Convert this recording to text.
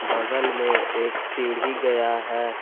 बगल में एक सीढ़ी गया है।